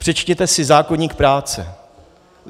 Přečtěte si zákoník práce.